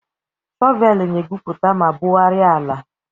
Shọvel na-egwupụta ma bugharịa ala.